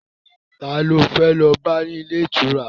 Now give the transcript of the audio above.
Ta lo fẹ́ lọ bá ní ilé ìtura?